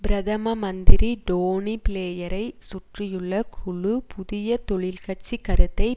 பிரதம மந்திரி டோனி பிளேயரை சுற்றியுள்ள குழு புதிய தொழிற்கட்சி கருத்தை